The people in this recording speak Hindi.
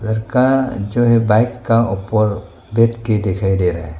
लड़का जो है बाइक का ऊपर देख के दिखाई दे रहा है।